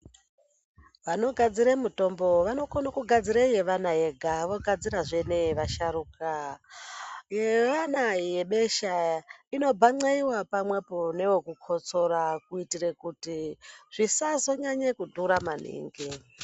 Anogadzirw mutombo vanokone kugadzire yevana yega vogadzirazve neye vasharuka yaana yebesha inobhan'eiwa pamwepo newe kukotsora kuitire kuti zvisazonyanye kudhura maningi.